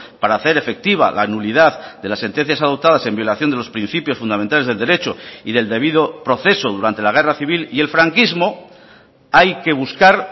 para hacer efectiva la nulidad de las sentencias adoptadas en violación de los principios fundamentales del derecho y del debido proceso durante la guerra civil y el franquismo hay que buscar